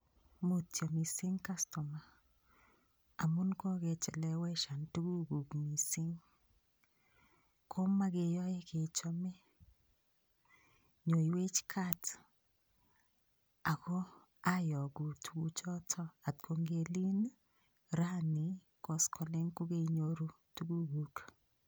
Mutyo mising' kastoma amun kokecheleweshan tukukuk mising' komakeyoe kechome nyoiwech kat ako ayoku tukuchoto atkongelin raini koskoling' kokaiyoru tukukuk